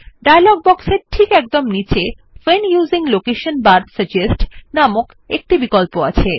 dialogue বক্সের এর একদম নীচে when using location bar suggest নামক একটি বিকল্প আছে